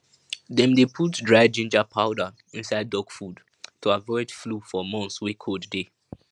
dem dey put dry ginger powder inside duck food to avoid flu for months wey cold dey